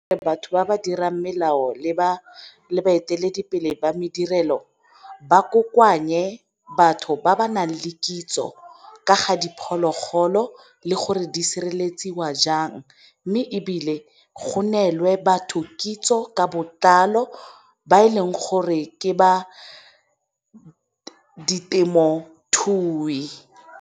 Batho ba ba dirang melao le ba baeteledipele ba madirelo ba kokoanye batho ba ba nang le kitso ka ga diphologolo le gore di sireletsiwa jang, mme ebile go nelwe batho kitso ka botlalo ba e leng gore ke ba ditemothui.